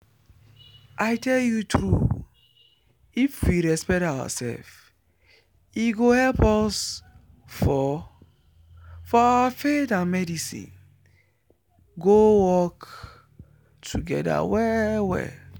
i tell you true if we respect ourselves e go help us for for our faith and medicine go work together well well